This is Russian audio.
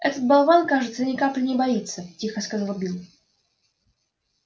этот болван кажется ни капли не боится тихо сказал билл